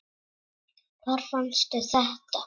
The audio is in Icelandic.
Hvar fannstu þetta?